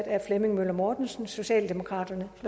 af flemming møller mortensen socialdemokraterne